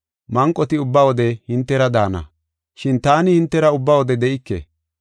Manqoti ubba wode hintera daana. Shin taani hintera ubba wode de7ike.